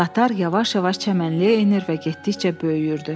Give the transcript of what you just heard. Qatar yavaş-yavaş çəmənliyə enir və getdikcə böyüyürdü.